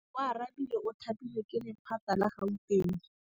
Oarabile o thapilwe ke lephata la Gauteng.